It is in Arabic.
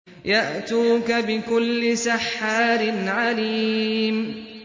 يَأْتُوكَ بِكُلِّ سَحَّارٍ عَلِيمٍ